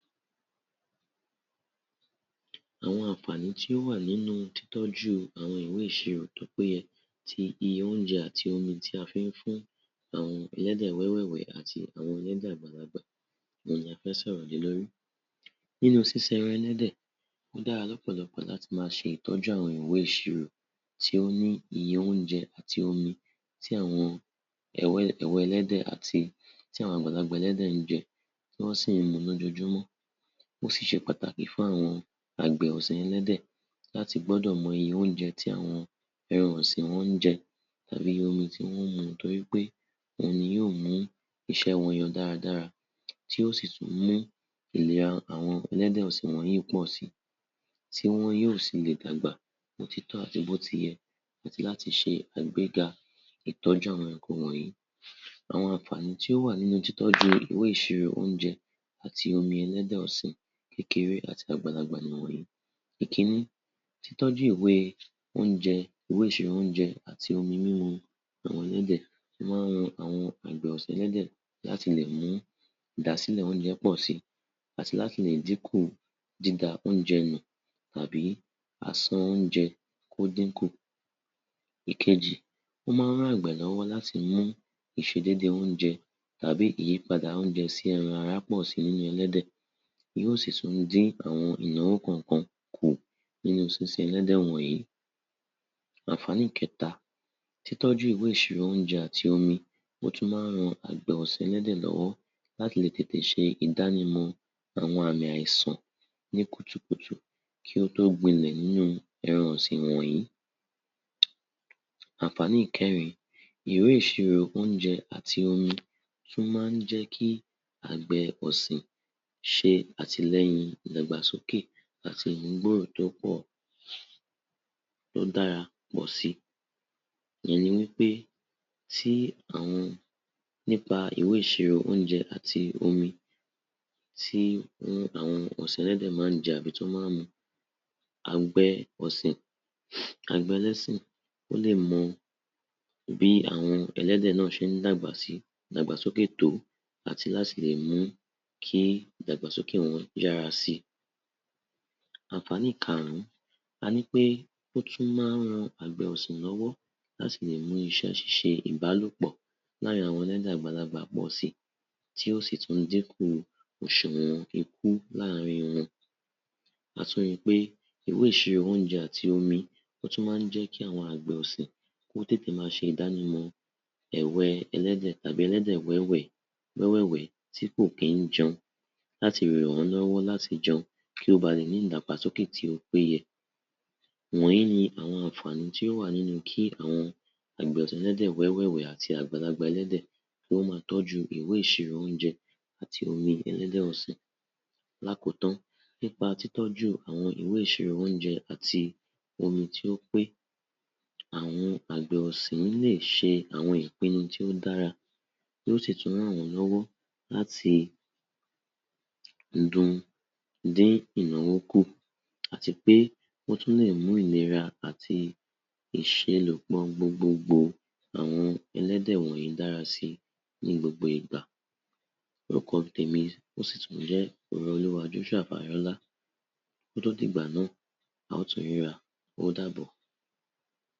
Àwọn àǹfààní tí ó wà nínú títoj́ú àwọn iwé ìsirò tó péye ti óúnjẹ àti omi tí a fi ń fún àwọn ẹlẹ́dẹ̀ wẹ́ẹ́wẹ̀ẹ̀wẹ̀ẹ́ àti àwọn ẹlẹ́dẹ̀ àgbàlagbà òun ni a fẹ́ s’ọ̀rò lé lórí. Nínú sísin ẹran ẹlẹ́dè, ó dára l’ọ́pọ̀lọpọ̀ láti máa ṣe ìtọ́jú àwọn ìwé ìṣirò tí ó ní iye óúnje àti omi tí àwòn ẹ̀wẹ̀ ẹlẹ́dẹ̀ àti ti àwọn àgbàlagbà ẹlẹ́dè ń jẹ, tí wọ́n sì ń mu l’ójoojúmọ́. Ó sì ṣe pàtàkì fún àwọn àgbè ọ̀sin ẹlẹ́dẹ̀ láti gbọ́dò mọ iye óúnje tí àwọn ẹran ọ̀sìn wọn ń jẹ tàbí iye omi tí wọ́n ń mu torí pé òun ni yóó mu iṣé wọn yọ dáradára, tí ó sì tún mú ìlera àwọn ẹlẹ́dẹ̀ ọ̀sìn wọ̀nyìí pọ̀ síi tí wọn yóó si le d’àgbà bí ó ti tọ́ àti bí ó ti yẹ, àti láti ṣe àgbéga ìtọ́jú àwọn ẹranko wọ̀nyìí. Àwọn àǹfààní tí ó wà nínú títoj́ú àwọn iwé ìsirò óúnjẹ àti omi ẹlẹ́dẹ̀ ọ̀sìn kékeré àti àgbàlagbà nìwọ̀n yìí: Ìkińní, títọ́ju iwé óúnjẹ, iwé ìsìrò óúnje àti omi mímu àwọn ẹlédẹ̀ ó má ń ran àwọn àgbè ọ̀sin ẹlẹ́dẹ̀ láti le mú ìdásílẹ̀ óúnjẹ pọ̀ síi àti láti lè dínkù dída-óúnjẹ-nù àbí àsán óúnjẹ kó dínkù. Ìkejì, ó má ń ran àgbẹ̀ lọ́wó láti mú ìṣedédé óúnjẹ tàbí ìyípadà óúnjẹ sí ẹran-ara pọ̀ síi nínú ẹlédẹ̀, yòò sì tún dín àwọn ìnáwó kọ̀ọ̀kan kù nínú sísín ẹlẹ́dẹ̀ wọ̀nyìí. Àǹfààní keta, títọ́ju iwé isiro ounje ati omi ó tún má ń ran àgbẹ̀ ọ̀sìn ẹlédè lọ́wọ́ láti le tètè ṣe ìdánimọ̀ áwọn àmì àìsàn ní kùtùkùtù kí ó tó gbilẹ̀ nìnú ẹran ọ̀sìn wọ̀nyìí. Àǹfààní ìkẹrìn-in, iwé ìsirò óúnjẹ àti omi tún má ń jẹ́ kì àgbẹ̀ ọ̀sìn ṣe àtìlẹ́yìn ìdàgbàsókè àti ìmúgbòòrò tó dára pò síi. Ìyẹn ni wí pé, nípa ìwé ìṣirò óúnjẹ àti omi tí àwọn ọ̀sìn ẹlẹ́dẹ má ń jẹ tàbí tí wọ́n ma ń mu, àgbẹ̀ ọlọ́sìn ó lè mọ bí àwọn ẹlẹ́dẹ̀ náà ṣe ń dàgbàsókè tó àti láti lè mú kí ìdàgbàsókè wọn yára síi. Àǹfààni ìkarùn-ún, a nì pé ó tún má ń ran àgbẹ̀ ọ̀sìn lọ́wọ́ láti le mú iṣẹ́ ṣíṣe ìbálòpọ̀ l’àárin àwọn ẹlẹ́dẹ̀ àgbàlagbà pọ̀ síi tí yóó sì tún dínkù òṣùwọ̀n ikú l’àárin wọn. A tún rí i pé ìwé ìsirò óúnjẹ àti omi, ó tún má ń jẹ́ kí àwọn àgbà ọ̀sìn ó tètè máa ṣe ìdánimọ̀ ẹ̀wẹ́ ẹlẹ́dẹ̀ tàbí wẹ́ẹ́wẹ́ẹwẹ̀ẹ́ tí kò kí ń jẹun láti le ràn wọ́n lọ́wọ́ láti jẹun kí ó ba lè ní ìdàgbàsókè tí ó péye. Wọ̀nyìí ni àwọn àǹfààni tí ó wa nínú kí àwọn àgbẹ̀ ọ̀sìn ẹlédẹ̀ wẹ́ẹ́wẹ̀ẹ̀wẹ̀ẹ́ àti àwọn àgbàlagbà ẹlẹ́dẹ̀ kí wọ́n ó máa tójú iwé ìsirò óúnjẹ àti omi ẹlẹ́dẹ̀ ọ̀sìn. L’àkótán, nípa títọ́jú àwọn ìwé ìṣirò óúnjẹ àti omi, tí ó pé, àwọn àgbà ọ̀sìn le se àwọn ìpinu tí ó dára tí ó sí tún ràn wọ́n lọ́wọ́ láti dín ináwó kù àti pé ó tún le mú ìlera àti ìselòpọ̀ gbogbogbò àwọn ẹlédè wọ̀nyìí dára síi ní gbogbo ìgbà. Orúkọ tèmi ó sì tún ń jé Orooluwa Joshua Fayola, ó tún dìgbà náa, a ò tún ríra, ó dàbò.